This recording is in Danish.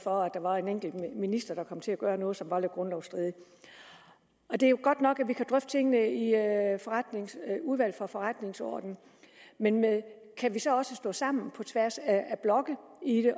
for at der var en enkelt minister der kom til at gøre noget som var lidt grundlovsstridigt det er jo godt nok at vi kan drøfte tingene i udvalget for forretningsordenen men kan vi så også stå sammen på tværs af blokke